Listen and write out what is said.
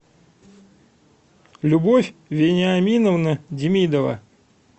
любовь вениаминовна демидова